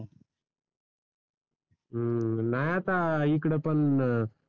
हम्म नाय आता इकडं पण